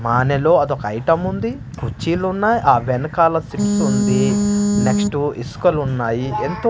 మానెలో అదొక ఐటెముంది కుర్చీలున్నాయ్ ఆ వెనకాల చిప్సుంది నెక్స్ట్ ఇసుకలున్నాయి ఎంతో--